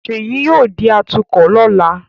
Ṣèyí yóò di atukọ̀ lọ́la